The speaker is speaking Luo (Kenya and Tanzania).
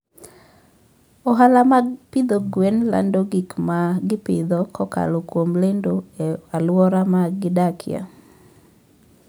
Ohala mag pidho gwen lando gik ma gipidho kokalo kuom lendo e alwora ma gidakie.